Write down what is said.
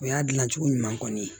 O y'a dilancogo ɲuman kɔni ye